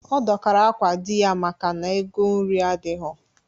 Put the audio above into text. Ọ dọkara akwa di ya maka na ego nri adighọ